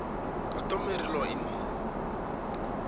customary law in